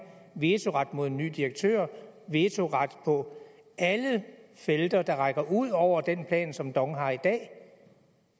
vetoret mod nye direktører vetoret på alle felter der rækker ud over den plan som dong har i dag